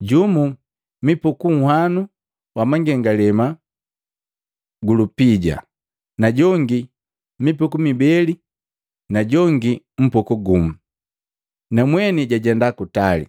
jumu mipuku nhwanu wa mangengalema gu lupija, najongi mipuku mibeli na jongi mpuku gumu, namweni jajenda kutali.